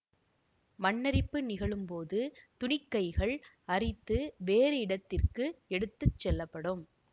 மண்ணரிப்பு நிகழும்போது துணிக்கைகள் அரித்து வேறு இடத்திற்க்கு எடுத்து செல்லப்படும்